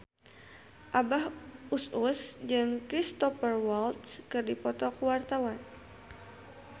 Abah Us Us jeung Cristhoper Waltz keur dipoto ku wartawan